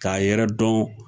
K'a yɛrɛ dɔn